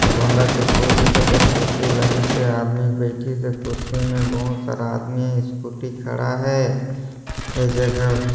गोंदा के फूल दिखत है कुर्सी लगीसे आदमी बैठी से कुर्सी मे बोहोत सारा आदमी स्कूटी खड़ा है ये जगह--